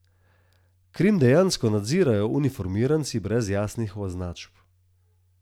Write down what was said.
Krim dejansko nadzirajo uniformiranci brez jasnih označb.